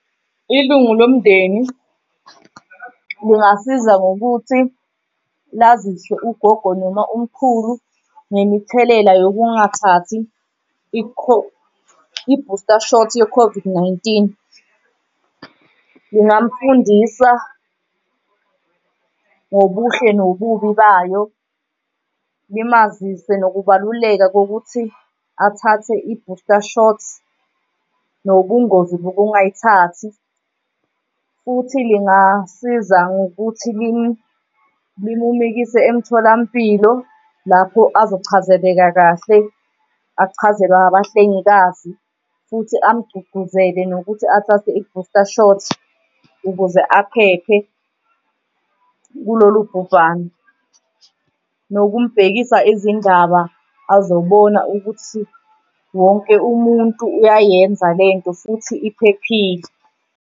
Ilungu lomndeni lingasiza ngokuthi lazise ugogo noma umkhulu ngemithelela sokungathathi i-booster shot ye-COVID-19. Ningamfundisa ngobuhle nobubi bayo, nimazise nokubaluleka bokuthi athathe i-booster shots nobungozi bokungayithathi futhi lingasiza ngokuthi lumumikise emtholampilo lapho azochazeleka kahle, achazelwe abahlengikazi futhi amugqugquzele nokuthi athathe i-booster shot ukuze aphephe kulolu bhubhano. Nokumbhekisa izindaba azobona ukuthi wonke umuntu uyayenza lento futhi iphephile.